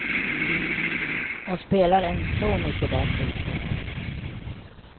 Och spelar en så mycket bättre ishockey.